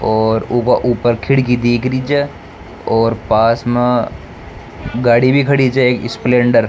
और ऊपर खिड़की दीख री छे और पास में गाड़ी भी खड़ी छे एक स्प्लेंडर ।